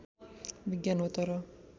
विज्ञान हो तर